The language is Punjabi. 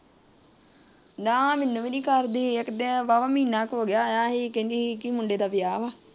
ਨਾ ਮੈਨੂੰ ਵੀ ਨਹੀਂ ਕਰਦੀ ਇੱਕ ਦਿਨ ਵਾਵਾ ਮਹੀਨਾ ਕੁ ਹੋ ਗਿਆ ਆਇਆ ਸੀ ਕਹਿੰਦੀ ਮੁੰਡਾ ਦਾ ਵਿਆਹ ਵਾ।